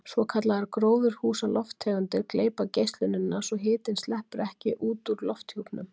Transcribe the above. Svokallaðar gróðurhúsalofttegundir gleypa geislunina svo hitinn sleppur ekki út úr lofthjúpnum.